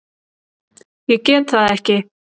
Ég get það ekki!